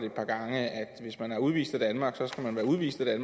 et par gange at hvis man er udvist af danmark så skal man være udvist af